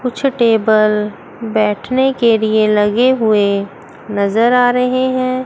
कुछ टेबल बैठने के लिए लगे हुए नजर आ रहे हैं।